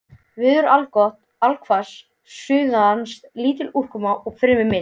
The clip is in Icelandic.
Veður allgott allhvass suðaustan lítil úrkoma og fremur milt.